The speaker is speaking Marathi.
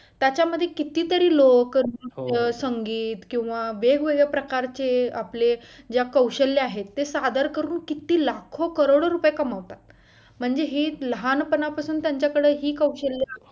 त्याच्यामध्ये कितीतरी लोक नृत्य संगीत किंवा वेगवेगळ्या प्रकारचे आपले ज्या कौशल्य आहेत ते सादर करून किती लाखो करोडो रुपये कमवतात म्हणजे ही लहानपणापासून त्यांच्याकडे ही कौशल्य